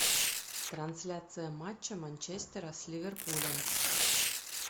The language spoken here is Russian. трансляция матча манчестера с ливерпулем